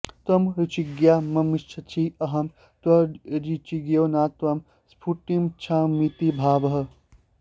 त्वं रुचिज्ञा मामिच्छसि अहं त्वरुचिज्ञो न त्वां स्फुष्टुमिच्छामीति भावः